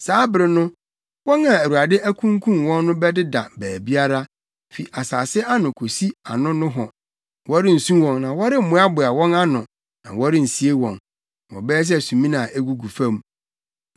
Saa bere no, wɔn a Awurade akunkum wɔn no bɛdeda baabiara, fi asase ano kosi ano nohɔ. Wɔrensu wɔn na wɔremmoaboa wɔn ano na wɔrensie wɔn, na wɔbɛyɛ sɛ sumina a egugu fam.